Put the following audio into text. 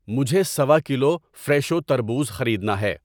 مجھے سَوا کلو فریشو تربوز خریدنا ہے۔